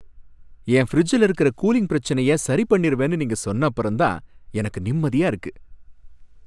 என் ஃபிரிட்ஜ்ல இருக்குற கூலிங் பிரச்சனைய சரி பண்ணிருவேன்னு நீங்க சொன்னப்பறம் தான் எனக்கு நிம்மதியா இருக்கு.